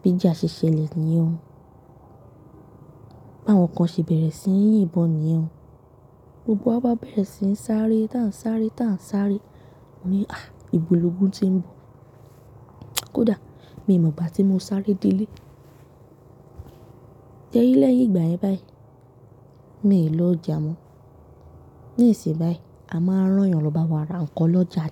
bíjà ṣe ṣẹlẹ̀ níyen o. Báwọn kan ṣe bẹ̀rẹ̀ sí ń yín bọn níyen o. Gbogbo wa bá bẹ̀rẹ̀ sí ń sáré, tá ń sáré, tá ń sáré. Mo ní, "À! Ìbo lògun ti ń bọ̀." Kódà mi mọ̀ igbá ti mo sáré délé. Se rinlẹ́yìn ìgbà yẹn báyìí, mi ò lọ ọjà mọ́. Nísìnyí a máa rán yàn lọ bá wa ra nǹkan lọ́jà.